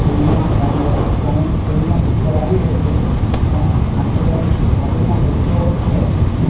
TV મા ઘણુ બધુ ઘણી ટી_વી મા પિક્ચર આવી રહ્યુ છે અને આંઠથી દસ ઓફિસ મા ખુરસીઓ છે.